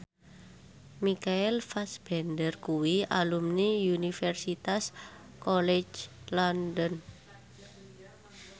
Michael Fassbender kuwi alumni Universitas College London